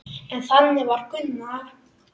En þannig var Gunna.